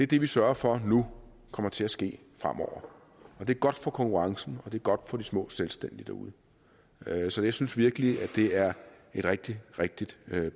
det vi sørger for nu kommer til at ske fremover det er godt for konkurrencen og det er godt for de små selvstændige derude så jeg synes virkelig at det er et rigtig rigtig